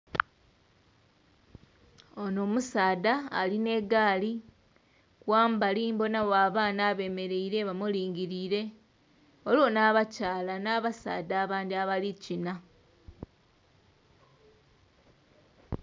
Onho musaadha alinha egaali, ghambali mbonagho abaanha abemereile bamulingirire ghaligho hnabakyaala nhabasadha abandhi abali kina.